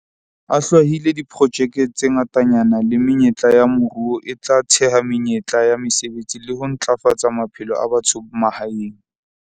A hlwahile diprojeke tse ngatanyana le menyetla ya moruo e tla theha menyetla ya mesebetsi le ho ntlafatsa maphelo a batho ba mahaeng.